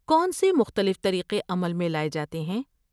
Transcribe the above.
کون سے مختلف طریقے عمل میں لائے جاتے ہیں؟